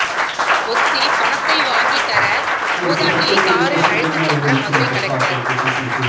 ஒத்தி பணத்தை வாங்கி தர மூதாட்டியை காரில் அழைத்து சென்ற மதுரை கலெக்டர்